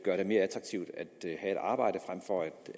mere attraktivt at have et arbejde frem for